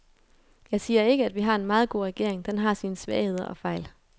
Jeg siger ikke, at vi har en meget god regering, den har sine svagheder og fejl.